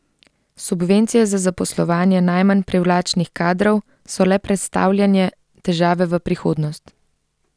Subvencije za zaposlovanje najmanj privlačnih kadrov so le prestavljanje težave v prihodnost.